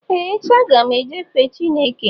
Ee, echi, agam eje fee Chịneke